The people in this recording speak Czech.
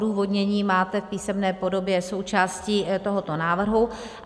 Odůvodnění máte v písemné podobě součástí tohoto návrhu.